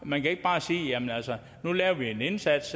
man kan ikke bare sige jamen altså nu gør vi en indsats